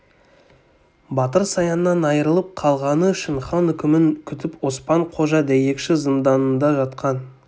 батыр саяннан айрылып қалғаны үшін хан үкімін күтіп оспан-қожа дәйекші зынданында жатқан